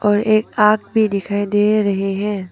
और एक आग भी दिखाई दे रहे हैं।